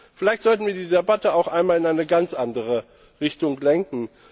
Vielleicht sollten wir die Debatte auch einmal in eine ganz andere Richtung lenken.